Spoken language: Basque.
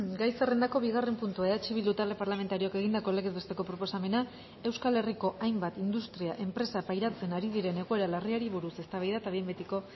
gai zerrendako bigarren puntua eh bildu talde parlamentarioak egindako legez besteko proposamena euskal herriko hainbat industria enpresa pairatzen ari diren egoera larriari buruz eztabaida eta behin betiko